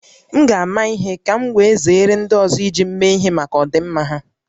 M ga-ama ihe ka m wee zere ndị ọzọ iji m mee ihe maka ọdịmma ha